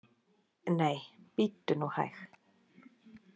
Nei, bíddu nú hæg!